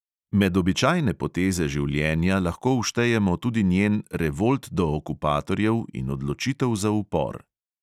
Med običajne poteze življenja lahko vštejemo tudi njen revolt do okupatorjev in odločitev za upor.